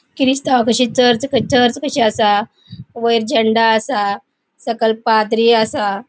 क्रीस्तवा कशी church church कशी असा वैर झेंडा असा. सकल पाद्री असा.